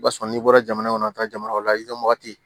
O b'a sɔrɔ n'i bɔra jamana kɔnɔ ka taa jamana wɛrɛ la i ka wagati